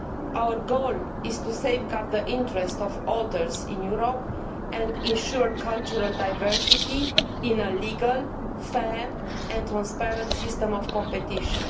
Our goal is to safeguard the interests of authors in Europe and to ensure cultural diversity in a legal, fair and transparent system of competition.